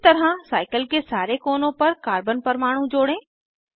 इसी तरह साइकिल के सारे कोनों पर कार्बन परमाणु जोड़ें